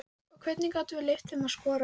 Og hvernig gátum við leyft þeim að skora?